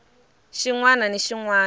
xin wana ni xin wana